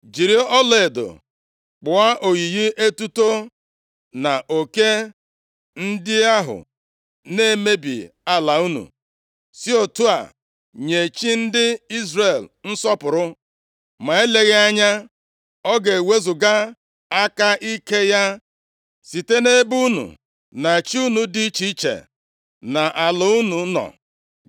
Jiri ọlaedo kpụọ oyiyi etuto na oke ndị ahụ na-emebi ala unu, si otu a nye chi ndị Izrel nsọpụrụ. Ma eleghị anya ọ ga-ewezuga aka ike ya site nʼebe unu na chi unu dị iche iche na ala unu nọ.